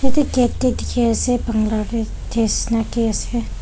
gate teh dikhi ase bangla te nisna ke ase.